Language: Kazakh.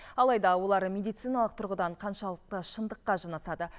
алайда олар медициналық тұрғыдан қаншалықты шындыққа жанасады